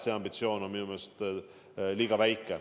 See ambitsioon on minu meelest liiga väike.